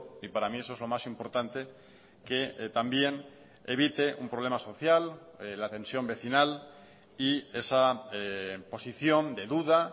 y para mí eso es lo más importante que también evite un problema social la tensión vecinal y esa posición de duda